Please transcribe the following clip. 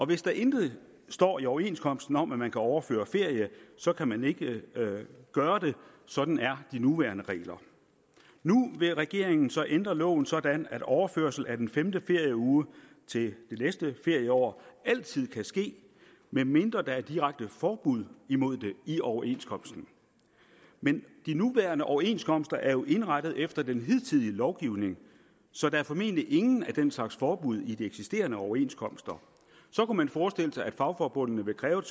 hvis der intet står i overenskomsten om at man kan overføre ferie så kan man ikke gøre det sådan er de nuværende regler nu vil regeringen så ændre loven sådan at overførsel af den femte ferieuge til det næste ferieår altid kan ske medmindre der er direkte forbud imod det i overenskomsten men de nuværende overenskomster er jo indrettet efter den hidtidige lovgivning så der er formentlig ingen af den slags forbud i de eksisterende overenskomster så kunne man forestille sig at fagforbundene vil kræve